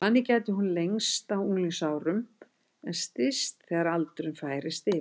Þannig gæti hún lengst á unglingsárum en styst þegar aldurinn færist yfir.